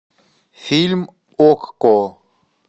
фильм окко